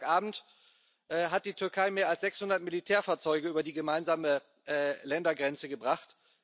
Seit Freitagabend hat die Türkei mehr als 600 Militärfahrzeuge über die gemeinsame Ländergrenze gebracht.